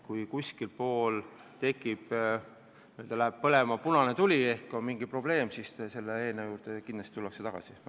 Kui kuskil läheb põlema punane tuli ehk on mingi probleem, siis selle seaduse juurde kindlasti tullakse tagasi.